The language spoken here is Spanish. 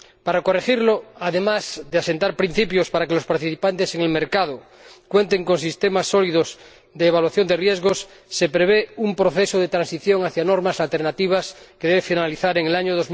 Para corregir esto, además de asentar principios para que los participantes en el mercado cuenten con sistemas sólidos de evaluación de riesgos, se prevé un proceso de transición hacia normas alternativas que debe finalizar en el año